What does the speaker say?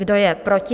Kdo je proti?